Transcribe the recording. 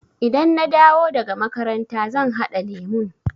Idan na dawo daga makaranta zan haɗa lemun.